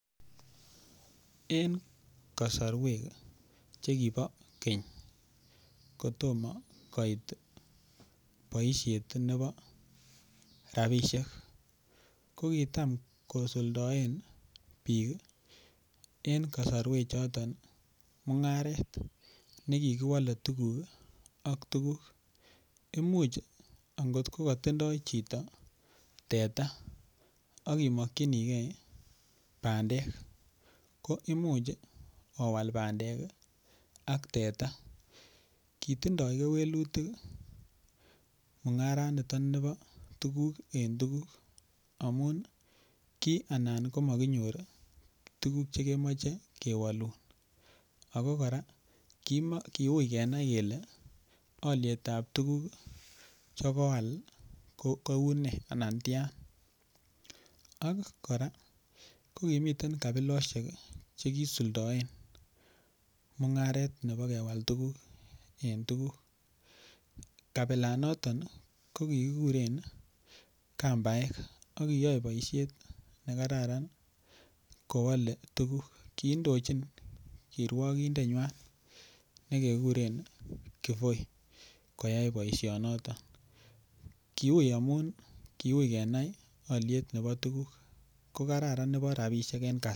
En kasarwek Che kibo keny kotomo boisiet rabisiek ko kitam kosuldaen bik en kasarwechoto mungaret ne ki kiwole tuguk ak tuguk Imuch angot ko tindoi chito teta ak I mokyinigei bandek ko Imuch owal bandek ak teta ki tindoi kewelutik mungaraniton nibo tuguk en tuguk amun ki anan komokinyor tuguk Che kemoche kewolun ako kora kiui kenai kele alyet ab tuguk Che koal koune anan tian ak kora ko kimiten kabilosiek Che kisuldaen mungaret nebo kewal tuguk en tuguk kabilanato ko kikuren kambaek ak kiyoe boisiet ne kararan ko wole tuguk kiindochin kiruokindenywa nekekuren kivoi koyai boisinoto kiui amun kiui kenai alyet nebo tuguk ko Kararan nebo rabisiek en kasari